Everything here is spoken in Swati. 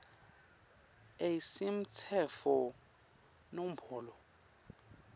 a semtsetfo nombolo